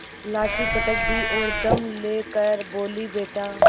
लाठी पटक दी और दम ले कर बोलीबेटा